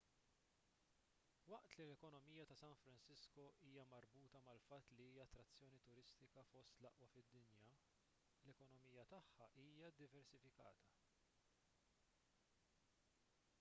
waqt li l-ekonomija ta' san francisco hija marbuta mal-fatt li hija attrazzjoni turistika fost l-aqwa fid-dinja l-ekonomija tagħha hija ddiversifikata